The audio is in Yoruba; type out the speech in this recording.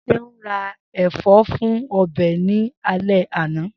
Seun ra ẹfọ fun ọbẹ ni ale ana.